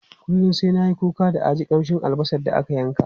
Kullum sai na yi kuka da a ji kamshin albasa da aka yanka.